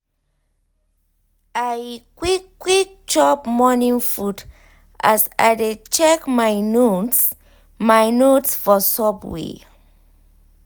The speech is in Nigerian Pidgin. i quick quick chop morning food as i dey check my notes my notes for subway.